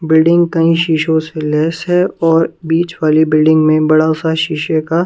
building कई शीशे से लैस है और बीच वाली बिल्डिंग में बड़ा सा शीशे का--